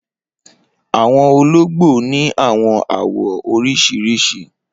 Awọn ologbo ni awọn awọ oriṣiriṣi.